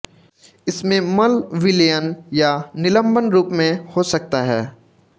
इसमें मल विलयन या निलंबन रूप में हो सकता है